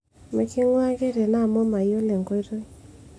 miking'ua ake tene amu mayiolo enkoitoi